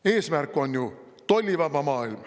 Eesmärk on ju tollivaba maailm.